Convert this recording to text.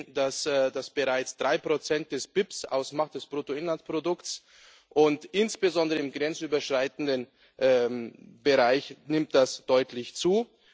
Wir sehen, dass er bereits drei Prozent des BIP ausmacht, des Bruttoinlandsprodukts, und insbesondere im grenzüberschreitenden Bereich nimmt er deutlich zu.